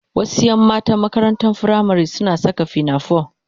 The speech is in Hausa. Wasu 'yan matan makarantar firamari suna saka pinafore